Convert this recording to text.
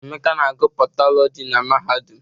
Emeka na agụ Patọlọji na mahadum.